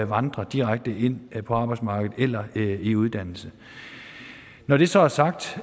vandrer direkte ind på arbejdsmarkedet eller i uddannelse når det så er sagt